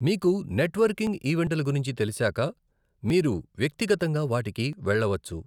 మీకు నెట్వర్కింగ్ ఈవెంటల గురించి తెలిశాక, మీరు వ్యక్తిగతంగా వాటికి వెళ్ళవచ్చు.